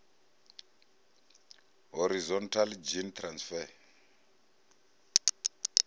horizontal gene transfer